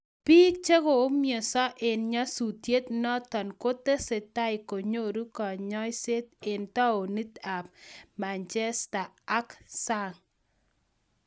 Biik chekoumiansa eng nyasutiet notok kotesetai konyoru kanyaiser eng taonit ab manjesta ak sang.